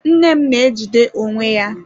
Nne m na-ejide onwe ya.